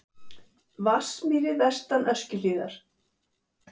Vatnsmýri vestan Öskjuhlíðar.